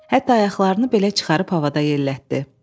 Hətta ayaqlarını belə çıxarıb havada yellətdi.